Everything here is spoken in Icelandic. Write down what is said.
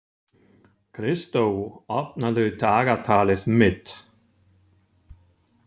Kristó, opnaðu dagatalið mitt.